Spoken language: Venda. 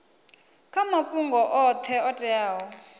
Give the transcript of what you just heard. kha mafhungo oṱhe o teaho